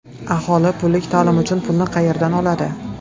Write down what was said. Aholi pullik ta’lim uchun pulni qayerdan oladi?